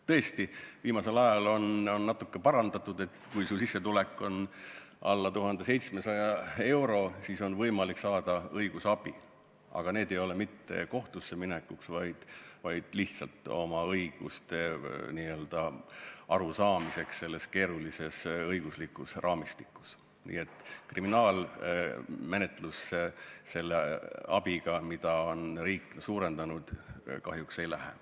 Tõesti, viimasel ajal on asja natukene parandatud – kui su sissetulek on alla 1700 euro, siis on sul võimalik saada õigusabi, aga see abi ei ole mitte kohtusse minekuks, vaid lihtsalt oma õigustest arusaamiseks selles keerulises õiguslikus raamistikus.